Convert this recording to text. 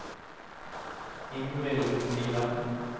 Ingvild Liland